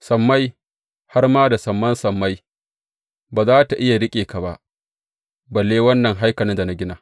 Sammai, har ma da saman sammai ba za tă iya riƙe ka ba, balle wannan haikalin da na gina!